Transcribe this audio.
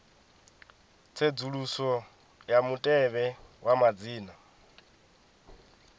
tsedzuluso ya mutevhe wa madzina